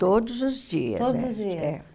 Todos os dias. Todos os dias. É.